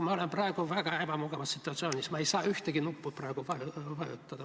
Ma olen praegu väga ebamugavas situatsioonis, ma ei saa ühtegi nuppu praegu vajutada.